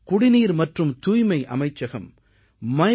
குடிநீர் மற்றும் தூய்மை அமைச்சகம் MyGov